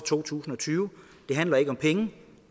to tusind og tyve det handler ikke om penge